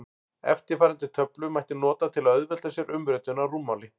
Eftirfarandi töflu mætti nota til að auðvelda sér umritun á rúmmáli.